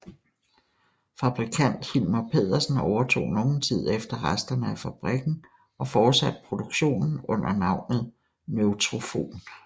Fabrikant Hilmer Pedersen overtog nogen tid efter resterne af fabrikken og fortsatte produktionen under navnet Neutrofon